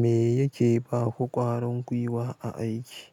Me yake ba ku ƙwarin gwiwa a aiki?